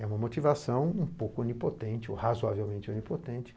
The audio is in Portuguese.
É uma motivação um pouco onipotente, ou razoavelmente onipotente.